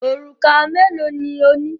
Òrùka mélòó ni ó ní?